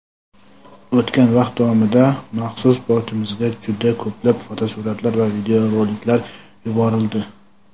O‘tgan vaqt davomida maxsus botimizga juda ko‘plab fotosuratlar va videoroliklar yuborildi.